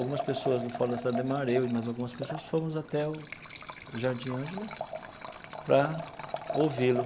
Algumas pessoas do Fórum da Cidade Ademar, eu e mais algumas pessoas fomos até o o Jardim Ângela para ouvi-lo.